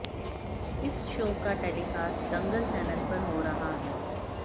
इस शो का telecast Dangal channel पर हो रहा है